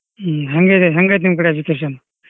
ಹ್ಮ್ ಹೇಂಗೈತಿ ನಿಮ್ ಕಡೆ education ?